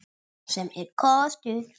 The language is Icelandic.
Sem er kostur!